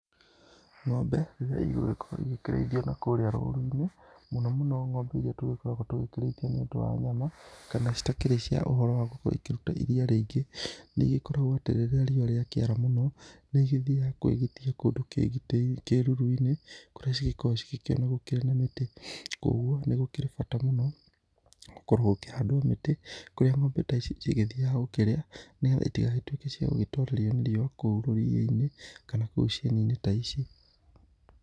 Ng'ombe ĩrĩa ĩgĩgũkorwo ĩkĩreĩthĩo na kũrĩa rũrũ-ĩnĩ, mũno mũno ng'ombe ĩrĩa tũgũgĩkorwo tũkĩraĩthĩa nĩ ũndũ wa nyama. Kana cĩtakĩrĩ cĩa ũhoro wa gũgĩkorwo ĩkũrũta ĩrĩa rĩngĩ, nĩ ĩkoragwo rĩrĩa rĩowa rĩakĩara mũno nĩĩthĩga kwĩgĩtĩa kũndũ kĩrũrũ-ĩnĩ kũrĩa cĩngĩkoragwo cĩkĩona mĩtĩ. Kwoũgũo nĩgũkĩrĩ bata mũno, ngũkorwo gũkĩhandwo mĩtĩ kũrĩa ng'ombe ta ĩcĩ cĩrĩgethĩaga ngũkerĩa, nĩgetha ĩtĩgagĩtũweka cĩa gũgĩtorerĩo nĩ rĩũwa kũũ rũrĩaĩnĩ, kana koũ cienĩne ta ĩcĩ.